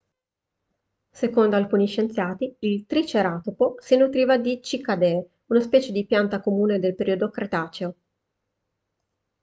secondo alcuni scienziati il triceratopo si nutriva di cicadee una specie di pianta comune nel periodo cretaceo